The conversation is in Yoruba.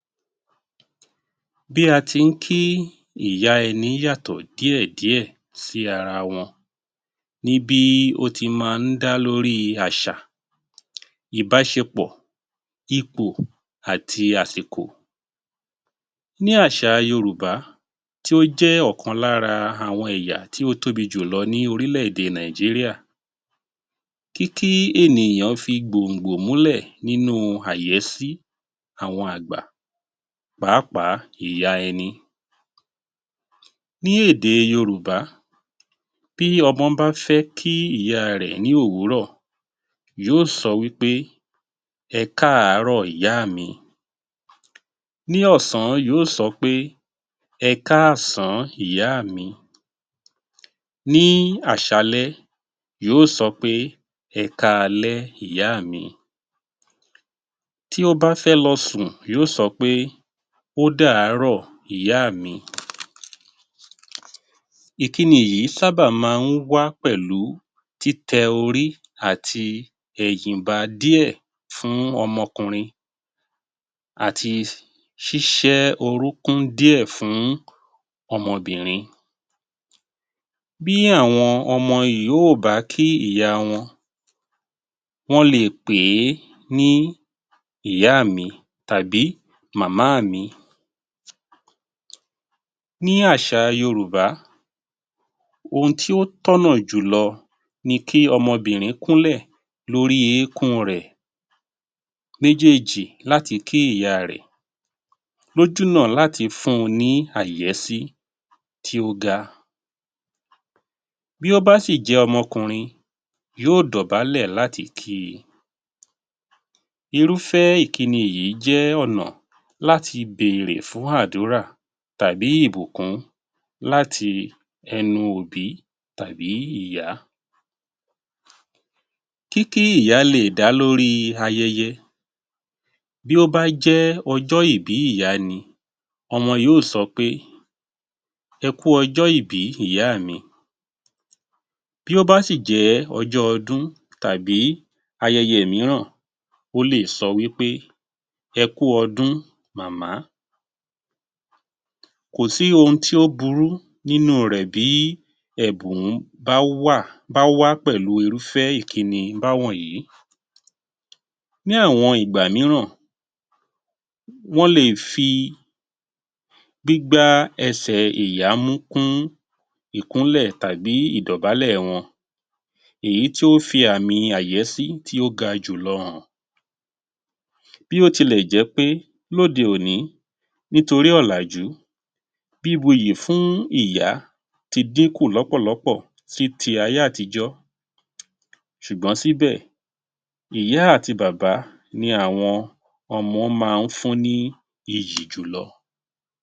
Bí a ti ń kí ìyá ẹni yàtọ̀ díẹ̀ díẹ̀ sí ara wọn, ní bí ó ti máa ń dá lórí àṣà, ìbáṣepọ̀, ipò àti àsìkò. Ní àṣà Yorùbá tí ó jẹ́ ọ̀kan lára àwọn ẹ̀yà tí ó tóbi jù lọ ní orílẹ̀-èdè Nàìjíríà, kí kí ènìyàn fi gbòǹgbò mú lẹ̀ nínú àyẹ́sí àwọn àgbà pàápàá ìyá ẹni. Ní èdè Yorùbá, bí ọmọ bá fẹ́ kí ìyá rẹ̀ ní òwúrọ̀ yóò sọ wí pé- Ẹ káàárọ̀ ìyáà mi, ní ọ̀sán yóò sọ pé- Ẹ káàásàn ìyáà mi, ní àṣalẹ́ yóò sọ pé- Ẹ káalẹ́ ìyáà mi, tí ó bá fẹ́ lọ sùn yóò sọ pé - Ọ́dàárọ̀ ìyáà mi. Ìkíni yìí sábà máa ń wá pẹ̀lú títẹ orí àti ẹ̀yìn ba díẹ̀ fún ọmọkùnrin àti ṣíṣẹ́ orúkún díẹ̀ fún ọmọbìnrin. Bí àwọn ọmọ yìí ò bá kí ìyá wọn, wọ́n lè pè é ní ìyá mi tàbí màmá mi. Ní àṣà Yorùbá, ohun tí ó tọ̀nà jù lọ ni kí ọmọbìnrin kúnlẹ̀ lórí eékún rẹ̀ méjèèjì láti kí ìyá rẹ̀, lójú náà láti fún ní àyẹ́sí tí ó ga. Bí ó bá sì jẹ́ ọmọkùnrin, yóò dọ̀bálẹ̀ láti kí i. Irúfẹ́ Ìkíni yìí jẹ́ ọ̀nà láti bèrè fún àdúrà tàbí ìbùkún láti ẹnu òbí tàbí ìyá. Kí kí ìyá lè dá lórí ayẹyẹ. Bí ó bá jẹ́ ọjọ́-ìbí ìyá ni, ọmọ yóò sọ pé- ẹ kú ọjọ́ ìbí ìyáà mi. Bí ó bá sì jẹ́ ọjọ́ ọdún tàbí ayẹyẹ mìíràn, ó lè sọ wí pé - ẹ kú ọdún màmá. Kò sí ohun tí ó burú nínú rẹ̀ bíí ẹ̀bùn bá wà bá wá pẹ̀lú irúfẹ́ ìkíni bá wọ̀nyí. Ní àwọn ìgbà míràn, wọn lè fi gbígbá ẹsẹ̀ ìyá mú kún ìkúnlẹ̀ tàbí ìdọ̀bálẹ̀ wọn, èyí tí ó fi àmì àyẹ́sí tí ó ga jù lọ hàn. Bí ó ti lè jẹ́ pé lóde-òní nítorí ọ̀làjú, bí buyì fún ìyá ti dín kù lọ́pọ̀ lọ́pọ̀ sí ti ayé-àtijọ́ ṣùgbọ́n síbẹ̀, ìyá àti bàbá ni àwọn ọmọ máa ń fún ní iyì jù lọ.